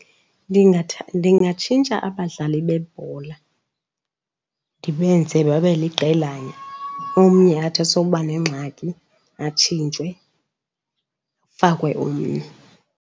Ndingatshintsha abadlali bebhola ndibenze babe liqelana, omnye athi asowuba nengxaki atshintshwe kufakwe omnye.